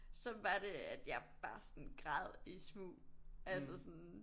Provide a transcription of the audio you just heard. Så var det at jeg bare sådan græd i smug altså sådan